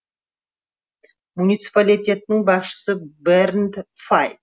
муниципалитеттің басшысы бернд фай